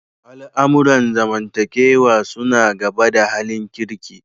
Al'amuran zamantakewa suna gaba da halin kirki.